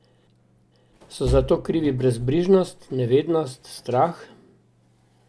So za to krivi brezbrižnost, nevednost, strah?